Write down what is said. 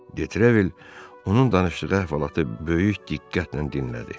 De Trevil onun danışdığı əhvalatı böyük diqqətlə dinlədi.